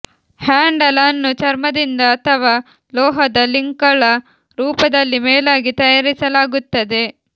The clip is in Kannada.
ಹ್ಯಾಂಡಲ್ ಅನ್ನು ಚರ್ಮದಿಂದ ಅಥವಾ ಲೋಹದ ಲಿಂಕ್ಗಳ ರೂಪದಲ್ಲಿ ಮೇಲಾಗಿ ತಯಾರಿಸಲಾಗುತ್ತದೆ